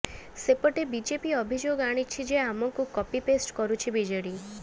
ସେପଟେ ବିଜେପି ଅଭିଯୋଗ ଆଣିଛି ଯେ ଆମକୁ କପି ପେଷ୍ଟ କରୁଛି ବିଜେଡି